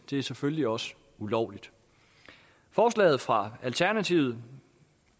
er selvfølgelig også ulovligt forslaget fra alternativet